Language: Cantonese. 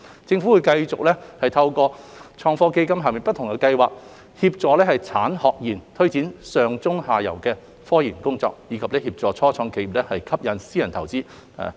政府會繼續透過創科基金下不同的計劃協助產學研推展上、中、下游的科研工作，以及協助初創企業吸引私人投資。